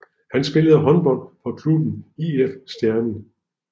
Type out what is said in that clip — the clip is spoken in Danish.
Han spillede håndbold for klubben IF Stjernen